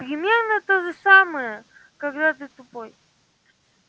примерно то же самое когда ты тупой